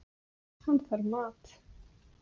Hann þarf mat.